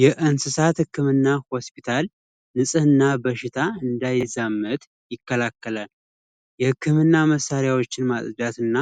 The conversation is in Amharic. የእንስሳት ህክምና ሆስፒታል ንፅሕና በሽታ እንዳይዛመት ይከላከላል። የህክምና መሳሪያዎችን ማጽዳት እና